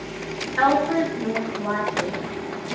alfred north whitehead